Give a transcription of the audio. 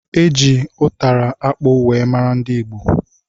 Eji ụtara akpụ wee mara ndị ìgbo